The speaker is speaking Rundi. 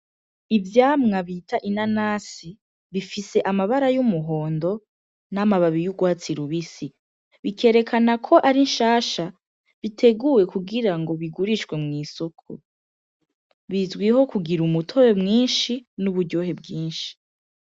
Ivyamwa bita inanasi bifise amabara y'umuhondo n'amababi y'ugwatsi lubisi bikerekana ko ari nshasha biteguwe kugira ngo bigurishwe mw'isoko bizwiho kugira umutobe mwinshi n'uburyohe bwinshi.